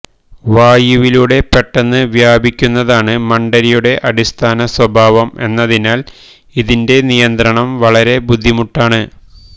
വായുവിലൂടെ പെട്ടെന്ന് വ്യാപിക്കുന്നതാണ് മണ്ഡരിയുടെ അടിസ്ഥാനസ്വഭാവം എന്നതിനാൽ ഇതിന്റെ നിയന്ത്രണം വളരെ ബുദ്ധിമുട്ടാണ്